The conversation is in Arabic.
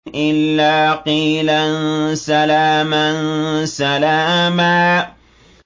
إِلَّا قِيلًا سَلَامًا سَلَامًا